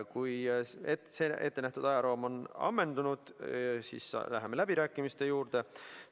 Kui ettenähtud ajaraam on ammendunud, siis läheme läbirääkimiste juurde.